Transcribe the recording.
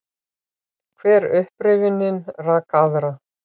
Hver upprifjunin rak aðra.